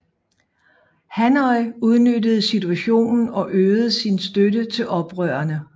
Hanoi udnyttede situationen og øgede sin støtte til oprørerne